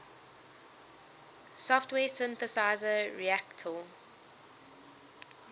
software synthesizer reaktor